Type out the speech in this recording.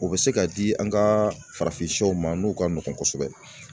U bɛ se ka di an ka farafinsɛw ma n'o ka nɔgɔn kosɛbɛ